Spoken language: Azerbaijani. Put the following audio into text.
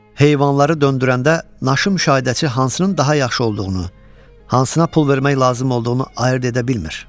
Heyvanları döndürəndə naşı müşahidəçi hansının daha yaxşı olduğunu, hansına pul vermək lazım olduğunu ayırd edə bilmir.